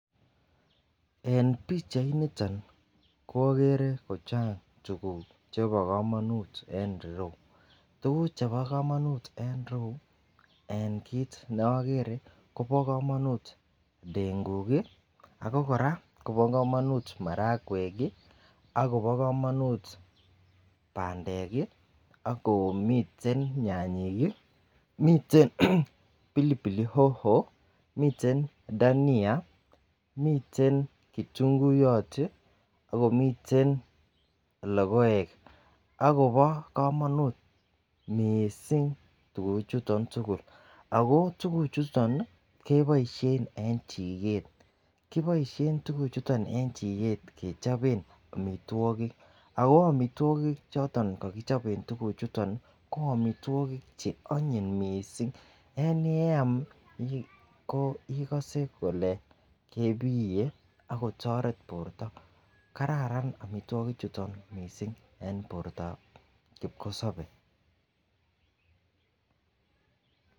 En pichainiton ko okere ko chang tukuk chebo komonut en irou, tukuk chebo komonut en ireyuu en kit neokere Kobo komonut ndenguk kii , ako Koraa Kobo komonut marawek kii akobo komonut pandek kii, akomiten nyanyik kii miten, miten pilipilik hoho miten dahania miten kitunguyot tiii akomiten lokoek akobo komonut missing tukuchuton tukuk. Ako tukuchuton nii keboishen en chiket kiboishen tukuk chuton en chiket kechoben omitwokik ako omitwokik choton ko kichobe tukuk chuton nii ko omitwokik che onyiny missing yaani yeam ko ikose kole kebiye akotoret borto. Kararan omitwokik chuton missing en bortab kipkosobe.